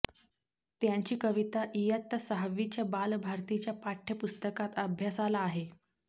त्यांची कविता इयत्ता सहावीच्या बालभारतीच्या पाठय़पुस्तकात अभ्यासाला आहे